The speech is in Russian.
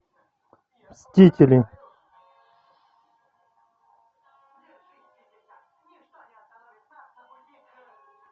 мстители